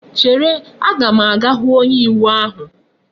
Chere! a ga m aga hu onye iwu ahu!